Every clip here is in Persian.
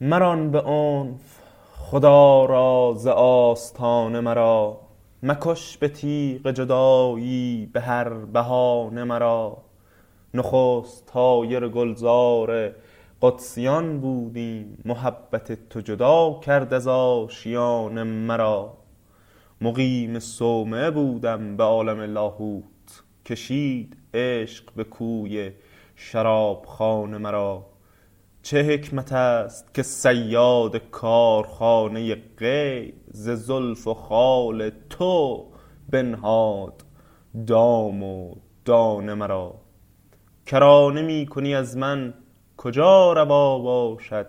مران به عنف خدا را ز آستانه مرا مکش به تیغ جدایی به هر بهانه مرا نخست طایر گلزار قدسیان بودیم محبت تو جدا کرد از آشیانه مرا مقیم صومعه بودم به عالم لاهوت کشید عشق به کوی شرابخانه مرا چه حکمت است که صیاد کارخانه غیب ز زلف و خال تو بنهاد دام و دانه مرا کرانه می کنی از من کجا روا باشد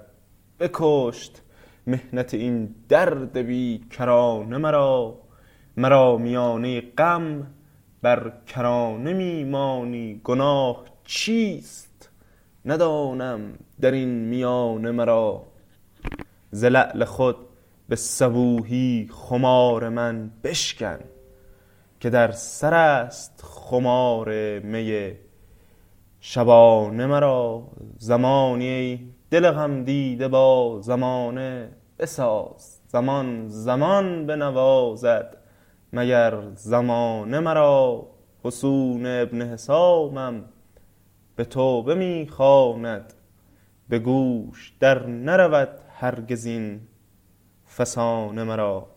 بکشت محنت این درد بی کرانه مرا مرا میانه غم بر کرانه می مانی گناه چیست ندانم در این میانه مرا ز لعل خود به صبوحی خمار من بشکن که در سر است خمار می شبانه مرا زمانی ای دل غمدیده با زمانه بساز زمان زمان بنوازد مگر زمانه مرا فسون ابن حسامم به توبه می خواند به گوش در نرود هرگز این فسانه مرا